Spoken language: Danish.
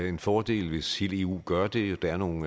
en fordel hvis hele eu gør det der er nogle